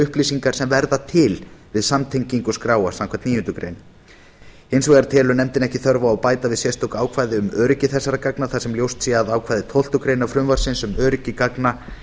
upplýsingar sem verða til við samtengingu skráa samkvæmt níundu grein hins vegar telur nefndin ekki þörf á að bæta við sérstöku ákvæði um öryggi þessara gagna þar sem ljóst sé að ákvæði tólftu greinar frumvarpsins um öryggi gagna